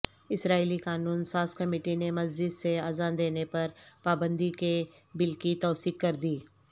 اسرائیلی قانون سازکمیٹی نے مسجد سے اذان دینے پر پابندی کے بل کی توثیق کردی